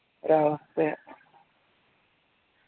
ഒരാവസ്ഥയാ